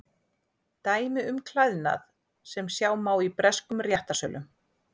Dæmi um klæðnað sem sjá má í breskum réttarsölum.